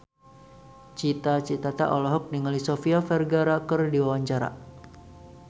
Cita Citata olohok ningali Sofia Vergara keur diwawancara